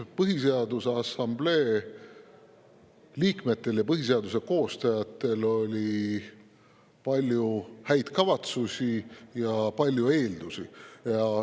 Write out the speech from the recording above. Põhiseaduse Assamblee liikmetel ja põhiseaduse koostajatel oli palju häid kavatsusi ja palju eeldusi.